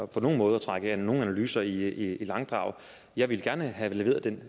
på nogen måde at trække nogen analyser i langdrag jeg ville gerne have leveret den